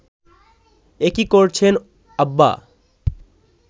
এ কী করছেন আব্বা